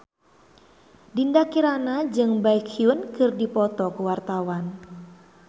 Dinda Kirana jeung Baekhyun keur dipoto ku wartawan